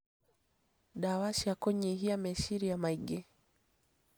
Ndawa cia kũnyihia meciria maingĩ